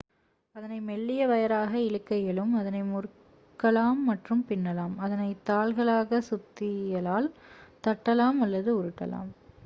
அதனை மெல்லிய வயராக இழுக்க இயலும் அதனை முறுக்கலாம் மற்றும் பின்னலாம் அதனை தாள்களாக சுத்தியலால் தட்டலாம் அல்லது உருட்டலாம்